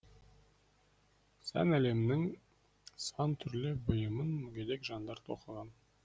сән әлемінің сан түрлі бұйымын мүгедек жандар тоқыған